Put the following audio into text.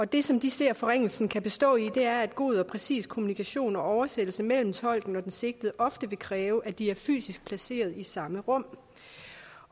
det som de ser forringelsen kan bestå i er at god og præcis kommunikation og oversættelse mellem tolken og den sigtede ofte vil kræve at de er fysisk placeret i samme rum